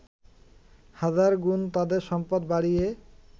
হাজার গুণ তাদের সম্পদ বাড়িয়ে